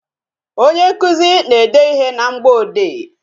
Onye nkụzi na-ede ịhe na mgboode